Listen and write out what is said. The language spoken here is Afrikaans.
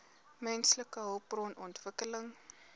menslike hulpbron ontwikkeling